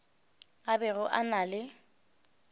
a bego a na le